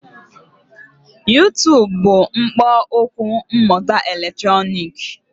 YuTub bụ ikpo okwu mmụta eletrọnịkị